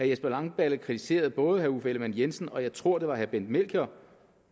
jesper langballe kritiserer både uffe ellemann jensen og jeg tror det var bent melchior